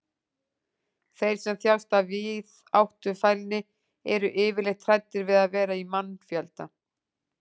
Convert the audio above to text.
þeir sem þjást af víðáttufælni eru yfirleitt hræddir við að vera í mannfjölda